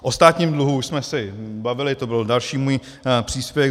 O státním dluhu už jsme se bavili, to byl další můj příspěvek.